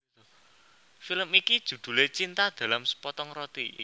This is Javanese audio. Film iki judhulé Cinta dalam Sepotong Roti